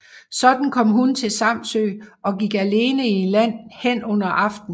Sådan kom hun til Samsø og gik alene i land hen under aften